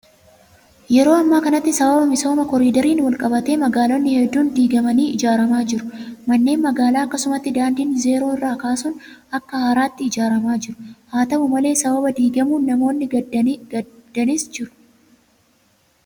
Yeroo ammaa kanatti sababa misooma koriidariin wal qabatee magaalonni hedduun diigamanii ijaaramaa jiru. Manneen magaalaa akkasumas daandiin zeeroo irraa kaasuun akka haaraatti ijaaramaa jiru. Haa ta'u malee sababa diigamuun namoonni gaddanis jiru.